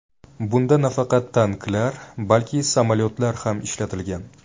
Bunda nafaqat tanklar, balki samolyotlar ham ishlatilgan.